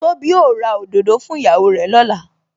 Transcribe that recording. Tóbi ó ra òdòdó fún ìyàwó rè lọ́la